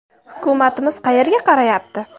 Hukumatimiz qayerga qarayapti?!